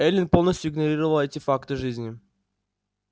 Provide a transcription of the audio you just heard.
эллин полностью игнорировала эти факты жизни